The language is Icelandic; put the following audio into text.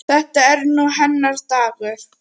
Þetta er nú hennar dagur.